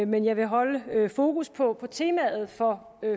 men jeg vil holde fokus på på temaet for